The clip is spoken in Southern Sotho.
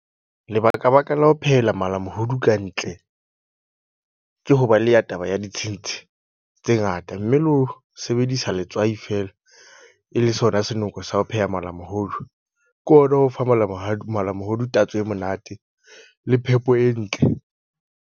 Lebaka baka la ho phehela malamohodu kantle. Ke ho ba le ya taba ya ditshintshi tse ngata. Mme le ho sebedisa letswai feela e le sona senoko sa ho pheha malamohodu. Ke ona o fang malamohadi malamohodu, tatso e monate le phepo e ntle.